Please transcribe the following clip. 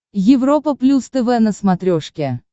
европа плюс тв на смотрешке